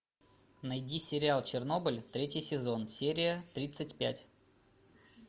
найди сериал чернобыль третий сезон серия тридцать пять